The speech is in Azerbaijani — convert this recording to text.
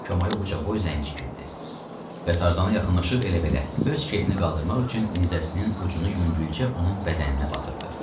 Koma uca boy zənci girdi və tarzana yaxınlaşıb elə belə öz kefini qaldırmaq üçün nizəsinin ucunu yüngülcə onun bədəninə batırdı.